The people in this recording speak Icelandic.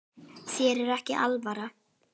Þér er ekki alvara